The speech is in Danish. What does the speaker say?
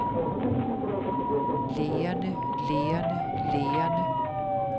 lægerne lægerne lægerne